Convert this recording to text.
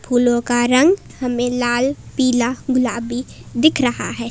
फूलों का रंग हमें लाल पिला गुलाबी दिख रहा है।